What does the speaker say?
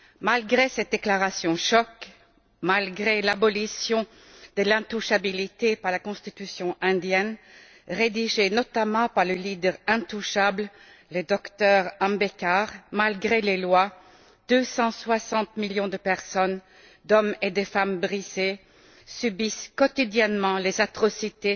Malgré ces déclarations choc, malgré l'abolition de l'intouchabilité par la constitution indienne rédigée notamment par le leader intouchable, le docteur Ambedkar malgré les lois, 260 millions d'hommes et de femmes brisés subissent quotidiennement des atrocités